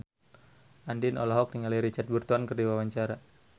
Andien olohok ningali Richard Burton keur diwawancara